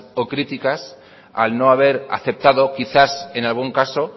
o críticas al no haber aceptado quizás en algún caso